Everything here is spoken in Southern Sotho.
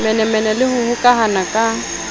bomenemene le ho hokahana ka